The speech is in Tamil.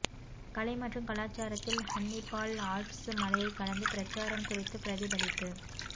கலை மற்றும் கலாச்சாரத்தில் ஹன்னிபால் ஆல்ப்ஸ் மலையைக் கடந்து பிரச்சாரம் குறித்து பிரதிபலிப்பு